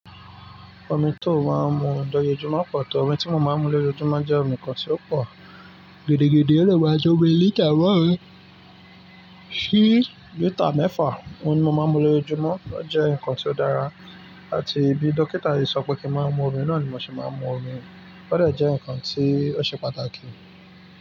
Omi tí ó máa ń mu lójoojúmọ́ pọ̀ tó? Omi tí mo máa ń mu lójoojúmọ́ jẹ́ omi kan tí ó pọ̀ gidi-gidi, ó dè máa ń tó omi lítà máàrún sì lítà mẹ́fà. Òun ni mo máa ń mu lójoojúmọ́, ó jẹ́ nǹkan tí ó dára àti bí dókítà yìí sọ pé kí n máa mu omi náà ni mo ṣe máa ń mu omi. Ó dè jẹ́ ǹkan tí ó ṣe pàtàkì.